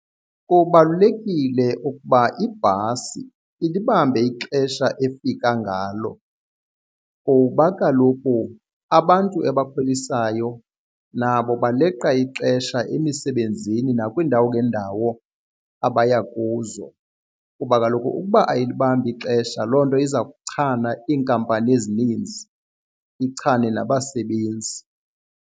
Kubalulekile ukuba ibhasi ilibambe ixesha efika ngalo kuba kaloku abantu ebakhwelisayo nabo baleqa ixesha emisebenzini nakwiindawo ngeendawo abaya kuzo. Kuba kaloku ukuba ayilibambi ixesha loo nto iza kuchana iinkampani ezininzi ichane nabasebenzi.